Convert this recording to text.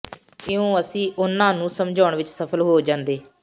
ਇਉਂ ਅਸੀਂ ਉਨ੍ਹਾਂ ਨੂੰ ਸਮਝਾਉਣ ਵਿਚ ਸਫ਼ਲ ਹੋ ਜਾਂਦੇ